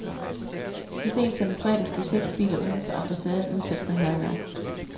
Så sent som i fredags blev seks biler uden for ambassaden udsat for hærværk.